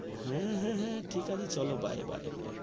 হে হে হে ঠিকা আছে চাল bye bye bye